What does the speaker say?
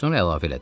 Sonra əlavə elədi.